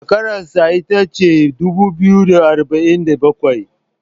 shekararsa ita ce dubu biyu da arba'in da bakwai